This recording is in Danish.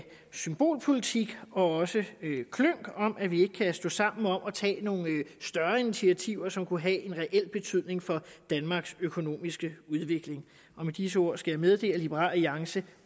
symbolpolitik og klynk om at vi ikke kan stå sammen om at tage nogle større initiativer som kunne have en reel betydning for danmarks økonomiske udvikling og med disse ord skal jeg meddele at liberal alliance